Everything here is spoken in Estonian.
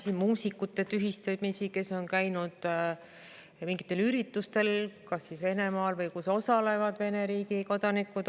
Nende muusikute tühistamisi, kes on käinud mingitel üritustel kas Venemaal või üritustel, kus osalevad Vene riigi kodanikud.